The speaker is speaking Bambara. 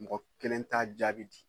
Mɔgɔ kelen t'a jaabi di.